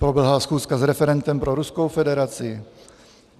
Proběhla schůzka s referentem pro Ruskou federaci.